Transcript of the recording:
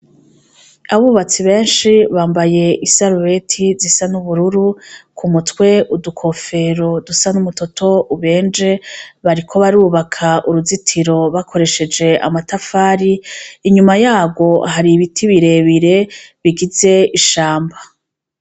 Abubatsi benshi bambaye isaruweti zisa n'ubururu ku mutwe udukofero dusa n'umutoto ubenje bariko barubaka uruzitiro bakoresheje amatafari inyuma yabo hari ibiti birebire bigize ishamba.